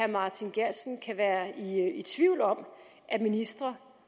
martin geertsen kan være i tvivl om at ministre